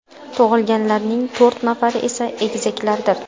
Tug‘ilganlarning to‘rt nafari esa egizaklardir.